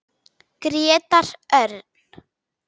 Grétar Örn.